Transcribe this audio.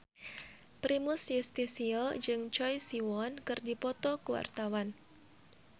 Primus Yustisio jeung Choi Siwon keur dipoto ku wartawan